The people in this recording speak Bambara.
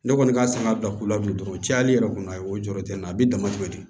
Ne kɔni ka san ka bila u la bilen dɔrɔn o cayali yɛrɛ kɔni a ye o jɔyɔrɔ tɛ n na a bɛ damatɛmɛ di